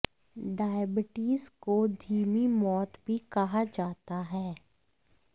diabetes को धीमी मौत भी कहा जाता है